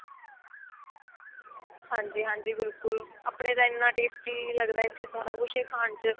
ਹਾਂਜੀ ਹਾਂਜੀ ਬਿਲਕੁਲ ਆਪਣੇ ਤਾਂ ਇੰਨਾ tasty ਲੱਗਦਾ ਇੱਥੇ ਸਾਰਾ ਕੁੱਝ ਹੀ ਖਾਣ ਚ